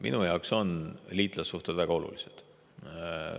Minu jaoks on liitlassuhted väga olulised.